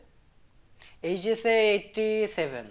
HS এ eighty-seven